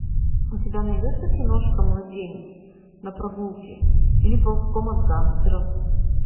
у тебя найдется киношка младенец на прогулке или ползком от гангстеров